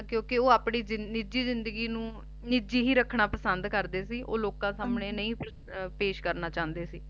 ਕਿਉਕਿ ਉਹ ਆਪਣੀ ਨਿੱਜੀ ਜ਼ਿੰਦਗੀ ਨੂੰ ਨਿੱਜੀ ਹੀ ਰੱਖਣਾ ਪਸੰਦ ਕਰਦੇ ਸੀ ਓਹ ਲੋਕਾਂ ਸਾਮ੍ਹਣੇ ਨਹੀਂ ਪੇਸ਼ ਕਰਨਾ ਚਾਹੁੰਦੇ ਸੀ